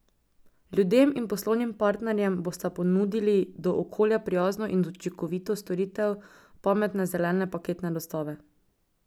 Ljudem in poslovnim partnerjem bosta ponudili do okolja prijazno in učinkovito storitev pametne zelene paketne dostave.